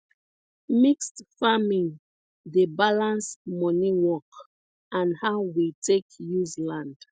mixed farming dey balance money work and how we take use land